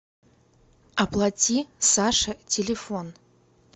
оплати саше телефон